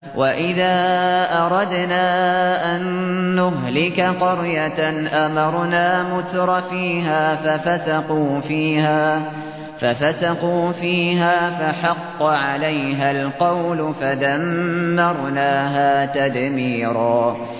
وَإِذَا أَرَدْنَا أَن نُّهْلِكَ قَرْيَةً أَمَرْنَا مُتْرَفِيهَا فَفَسَقُوا فِيهَا فَحَقَّ عَلَيْهَا الْقَوْلُ فَدَمَّرْنَاهَا تَدْمِيرًا